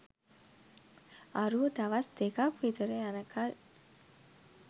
අරූ දවස් දෙකක් විතර යනකල්